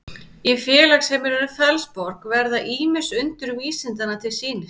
í félagsheimilinu fellsborg verða ýmis undur vísindanna til sýnis